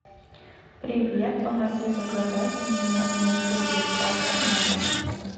привет помоги заказать мне муку и сахар на дом